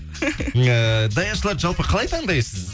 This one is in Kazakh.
ыыы даяшыларды жалпы қалай таңдайсыз